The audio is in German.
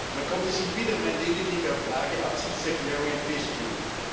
Man konnte sich wieder mal lediglich auf vage Absichtserklärungen festlegen.